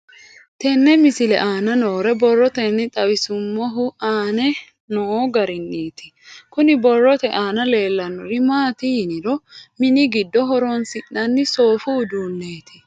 Tenne misile aana noore borroteni xawiseemohu aane noo gariniiti. Kunni borrote aana leelanori maati yiniro mini giddo horonsinanni soofu uduuneeti.